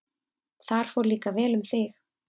Þar fór líka vel um þig.